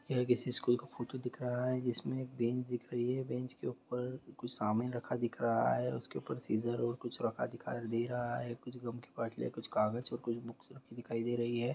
यह किसी स्कूल का फोटो दिख रहा है इसमें एक बेंच दिख रही है। बेंच के ऊपर कुछ शामिल रखा दिख रहा है उसके ऊपर सिज़र और कुछ रखा हुआ दिखाई दे रहा है कुछ गम की बोतले और कुछ बुक्स रखी दिखाई दे रही है।